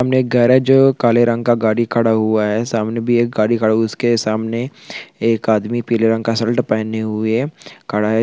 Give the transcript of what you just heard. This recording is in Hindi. सामने गैरेज काले रंग का गाड़ी खड़ा हुआ है सामने भी एक गाड़ी खड़ा हुआ है उसके सामने एक आदमी पीले रंग का शर्ट पहने हुए खड़ा है।